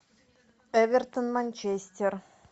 эвертон манчестер